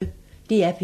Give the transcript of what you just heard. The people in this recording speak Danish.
DR P1